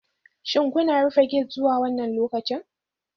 Shin kuna rufe gate zuwa wannan lokacin?